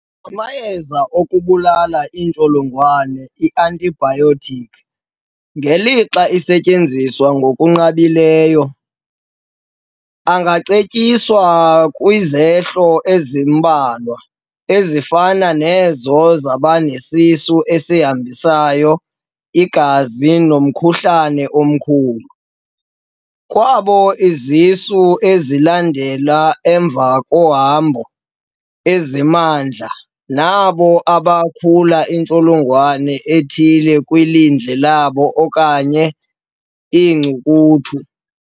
Amayeza okubulala iintsholongwane, Antibiotic, ngelixa esetyenziswa ngokunqabileyo, angacetyiswa kwizehlo ezimbalwa ezifana nezo zabanesisu esihambisa igazi nomkhuhlane omkhulu, kwabo izisu ezilandela emva kohambo ezimandla, nabo abakhula intsholongwane ethile kwilindle labo okanye iinkcukuthu.